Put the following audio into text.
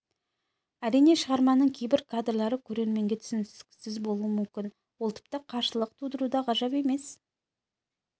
әрине шығарманың кейбір кадрлары көрерменге түсініксіз болуы мүмкін ол тіпті қарсылық тудыруы да ғажап емес